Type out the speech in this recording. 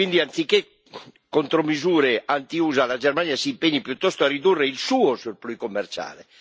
Quindi, anziché contromisure anti USA, la Germania si impegni piuttosto a ridurre il suo surplus commerciale.